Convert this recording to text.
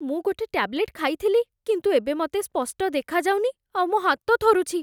ମୁଁ ଗୋଟେ ଟ୍ୟାବଲେଟ୍ ଖାଇଥିଲି କିନ୍ତୁ ଏବେ ମତେ ସ୍ପଷ୍ଟ ଦେଖାଯାଉନି ଆଉ ମୋ' ହାତ ଥରୁଛି ।